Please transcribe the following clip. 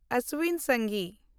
ᱚᱥᱥᱤᱱ ᱥᱟᱝᱜᱷᱤ